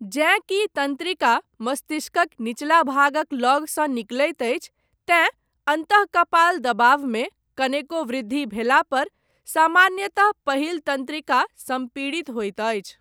जेँ कि तन्त्रिका, मस्तिष्कक निचला भागक लगसँ निकलैत अछि, तेँ अन्तःकपाल दबावमे, कनेको वृद्धि भेलापर, सामान्यतः पहिल तन्त्रिका, सम्पीड़ित होइत अछि।